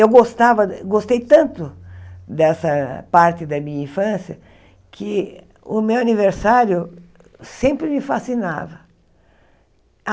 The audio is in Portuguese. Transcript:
Eu gostava gostei tanto dessa parte da minha infância que o meu aniversário sempre me fascinava.